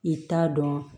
I t'a dɔn